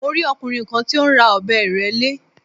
Mo rí ọkùnrin kan tí ó ń ra ọ̀bẹ ìrẹ́lé